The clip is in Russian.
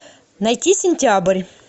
найти сентябрь